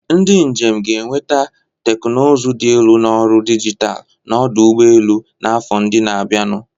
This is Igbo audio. Ndị njem ga-enweta teknụzụ dị elu na ọrụ dijitalụ na ọdụ ụgbọ elu n'afọ ndị na-abịanụ.